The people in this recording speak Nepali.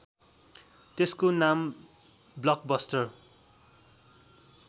त्यसको नाम ब्लकबस्टर